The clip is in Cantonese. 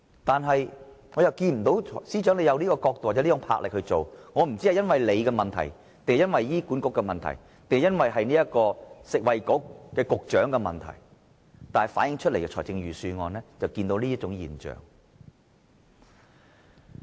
但是，我看不到司長有從這個角度或有這股魄力去做，我不知道是因為他的問題，還是醫管局的問題，或是食物及衞生局局長的問題，但預算案確實反映出這種現象。